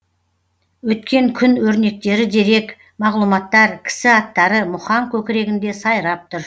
өткен күн өрнектері дерек мағлұматтар кісі аттары мұхаң көкірегінде сайрап тұр